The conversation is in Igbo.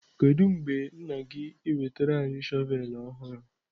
Kedu mgbe nna ga-enwetara anyị shọvel ọhụrụ?